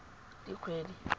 dikgwedi